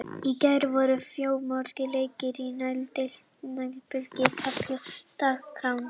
Í gær voru fjölmargir leikir í neðri deild Deildabikars karla á dagskránni.